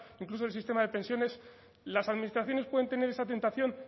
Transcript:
incluso del sistema de pensiones las administraciones pueden tener esa tentación